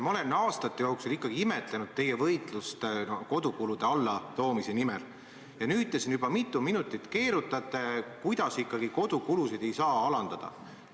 Ma olen aastate jooksul imetlenud teie võitlust ka kodukulude allatoomise nimel, aga nüüd te olete siin juba õige palju minuteid keerutanud, seletades, et ikkagi kodukulusid ei saa alandada.